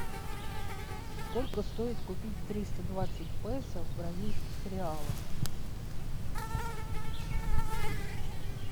сколько стоит купить триста двадцать песо в бразильских реалах